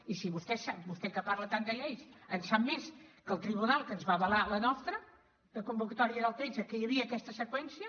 i si vostè que parla tant de lleis en sap més que el tribunal que ens va avalar la nostra de convocatòria del tretze que hi havia aquesta seqüència